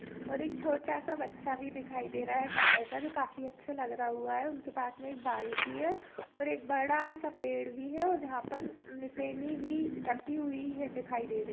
और एक छोटा सा बच्चा भी दिखाई दे रहा है गाय का जो काफी अच्छा लग रहा हुआ है उनके पास मे एक बाल्टी है और एक बड़ा सा पेड़ भी है और जहा पर नीसेनि भी रखी हुई है दिखाई दे रही--